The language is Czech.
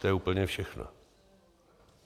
To je úplně všechno.